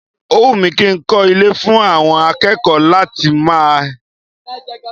O wù mí kí n kọ́ ilé fún àwọn akẹ́kọ̀ọ́ láti máa ẹ.